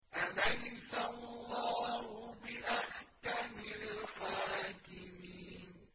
أَلَيْسَ اللَّهُ بِأَحْكَمِ الْحَاكِمِينَ